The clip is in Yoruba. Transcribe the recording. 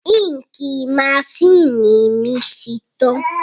Ínkìì masínìì mi ti tán